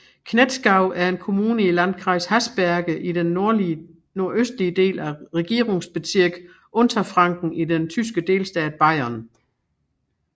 Knetzgau er en kommune i Landkreis Haßberge i den nordøstlige del af Regierungsbezirk Unterfranken i den tyske delstat Bayern